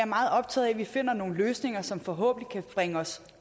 meget optaget af at vi finder nogle løsninger som forhåbentlig kan bringe os